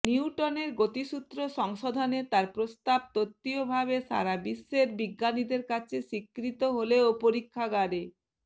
নিউটনের গতিসূত্র সংশোধনে তার প্রস্তাব তত্ত্বীয়ভাবে সারাবিশ্বের বিজ্ঞানীদের কাছে স্বীকৃত হলেও পরীক্ষাগারে